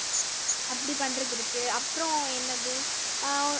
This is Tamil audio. அப்படி பண்றது இருக்கு அப்புறம் என்னது அஹ்